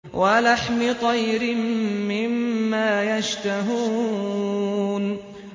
وَلَحْمِ طَيْرٍ مِّمَّا يَشْتَهُونَ